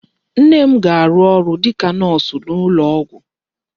Nne m ga-arụ ọrụ dịka nọọsụ n'ụlọ ọgwụ.